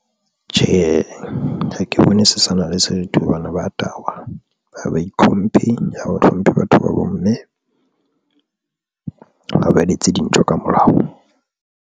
Tjhe, ha ke bone se sana le setho hobane baya tahwa, ba itlhomphe, a hlomphe batho ba bomme ha ba etse dintho ka molao.